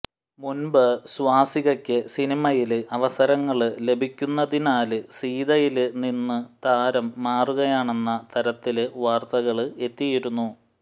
മുന്പ് സ്വാസികയ്ക്ക് സിനിമയില് അവസരങ്ങള് ലഭിക്കുന്നതിനാല് സീതയില് നിന്നും താരം മാറുകയാണെന്ന തരത്തില് വാര്ത്തകള് എത്തിയിരുന്നു